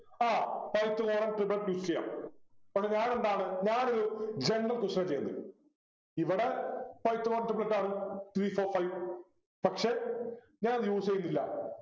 ആഹ് pythagoras triplets use ചെയ്യാം അത് ഞാനെന്താണ് ഞാനൊരു general question ആ ചെയ്യുന്നെ ഇവിടെ pythagoras triplets ആണ് three four five പക്ഷെ ഞാനത് use ചെയ്യുന്നില്ല